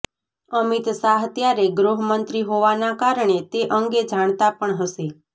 અમિત શાહ ત્યારે ગૃહમંત્રી હોવાના કારણે તે અંગે જાણતા પણ હશે